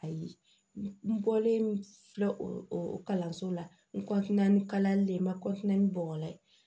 Ayi n bɔlen filɛ o kalanso la n ni kalali ma ni bɔgɔ ye